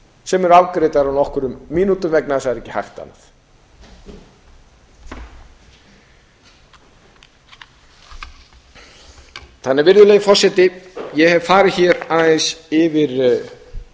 sem eru afgreiddar á nokkrum mínútum vegna þess að það er ekki hægt annað virðulegi forseti ég hef farið hér aðeins yfir